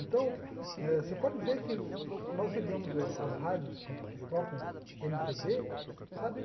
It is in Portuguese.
Então eh, você pode ver que nós ligamos as rádios que que tocam eme pê bê, sabe?